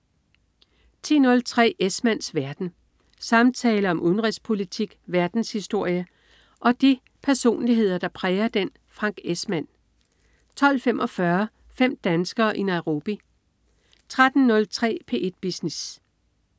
10.03 Esmanns verden. Samtaler om udenrigspolitik, verdenshistorie og de personligheder, der præger den. Frank Esmann 12.45 Fem danskere i Nairobi 13.03 P1 Business